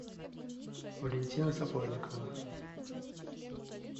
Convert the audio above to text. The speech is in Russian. валентина сапожникова